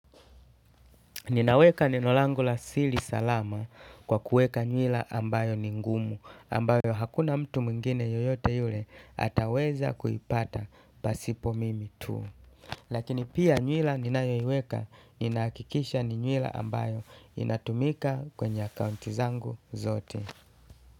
Ninaweka neno langu la siri salama kwa kuweka nywila ambayo ni ngumu ambayo hakuna mtu mwingine yeyote yule ataweza kuipata pasipo mimi tu lakini pia nywila ninayoiweka ninahakikisha ni nywila ambayo inatumika kwenye akaunti zangu zote.